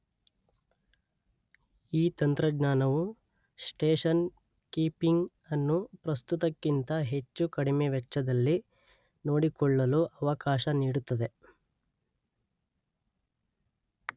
ಈ ತಂತ್ರಜ್ಞಾನವು station keeping ಅನ್ನು ಪ್ರಸ್ತುತಕ್ಕಿಂತ ಹೆಚ್ಚು ಕಡಿಮೆವೆಚ್ಚದಲ್ಲಿ ನೋಡಿಕೊಳ್ಳಲು ಅವಕಾಶ ನೀಡುತ್ತದೆ.